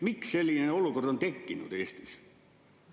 Miks selline olukord on tekkinud Eestis?